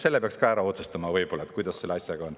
Selle peaks ka ära otsustama, kuidas selle asjaga on.